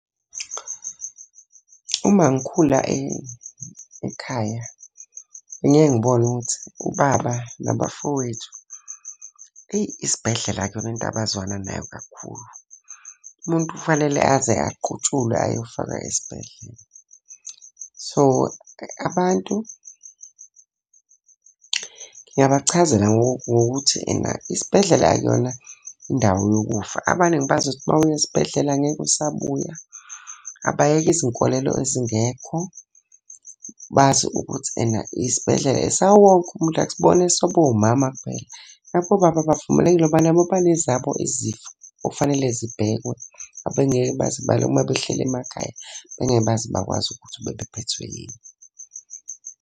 Uma ngikhula ekhaya bengiyeke ngibone ukuthi ubaba nabafowethu, eyi isibhedlela akuyona into abazwana nayo kakhulu. Umuntu kufanele aze aqutshulwe ayofakwa esibhedlela. So, abantu ngingabachazela ngokuthi ena isibhedlela akuyona indawo yokufa. Abaningi bazi ukuthi uma uya esibhedlela ngeke usabuya. Abayeke izinkolelo ezingekho, bazi ukuthi ena isibhedlela esawowonke umuntu, akusibona esabomama kuphela. Nabobaba bavumelekile ngoba nabo banezabo izifo okufanele zibhekwe abengeke baze uma behleli emakhaya, bengeke baze bakwazi ukuthi bebephethe yini?